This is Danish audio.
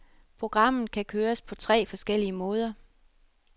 Programmet kan køres på tre forskellige måder.